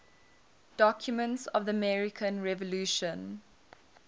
documents of the american revolution